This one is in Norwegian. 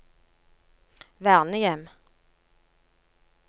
vernehjem